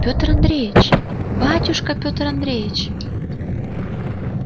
пётр андреич батюшка пётр андреич